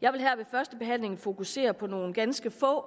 jeg vil her ved førstebehandlingen fokusere på nogle ganske få